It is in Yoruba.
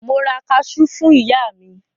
Mo ra kaṣú fún ìyá mi.